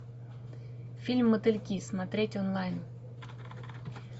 фильм мотыльки смотреть онлайн